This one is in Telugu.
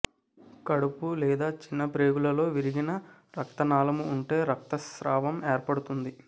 కడుపు లేదా చిన్న ప్రేగులలో విరిగిన రక్తనాళము ఉంటే రక్తస్రావం ఏర్పడుతుంది